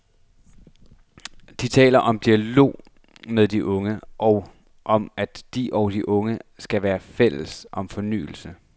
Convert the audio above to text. De taler om dialog med de unge, og om at de og de unge skal være fælles om fornyelse.